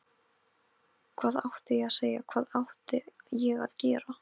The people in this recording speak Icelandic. Hvað átti ég að segja, hvað átti ég að gera?